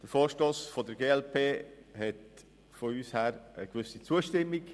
Der Vorstoss der glp erhält von unserer Seite eine gewisse Zustimmung.